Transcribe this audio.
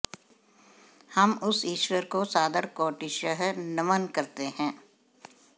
हम उस ईश्वर को सादर कोटिशः नमन करते हैं